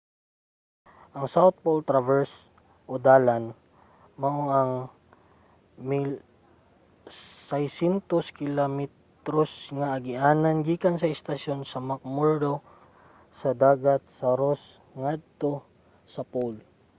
ang south pole traverse o dalan mao ang usa ka 1600 km nga agianan gikan sa istasyon sa mcmurdo sa dagat sa ross ngadto sa pole